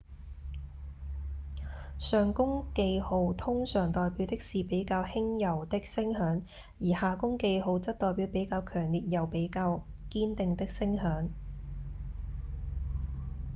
上弓記號通常代表的是比較輕柔的聲響而下弓記號則代表比較強烈又比較堅定的聲響